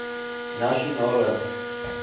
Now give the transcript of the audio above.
nasionale